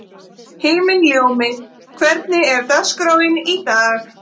Himinljómi, hvernig er dagskráin í dag?